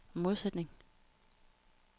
modsætning